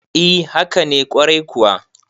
e haka nekwarai kuwa